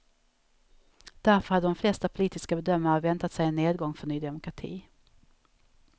Därför hade de flesta politiska bedömare väntat sig en nedgång för ny demokrati.